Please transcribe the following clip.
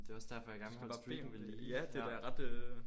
Det er også derfor jeg gerne vil holde streaken ved lige ja